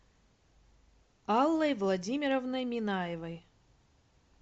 аллой владимировной минаевой